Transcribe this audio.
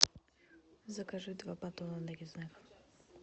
закажи два батона нарезных